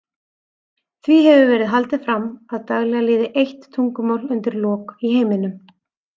Því hefur verið haldið fram að daglega líði eitt tungumál undir lok í heiminum.